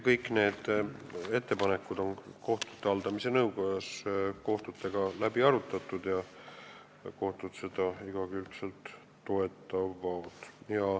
Kõik need ettepanekud on kohtute haldamise nõukojas kohtunikega läbi arutatud ja nad on neid igakülgselt toetanud.